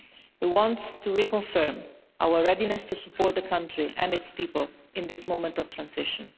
We want to reconfirm our readiness to support the country and its people in this moment of transition.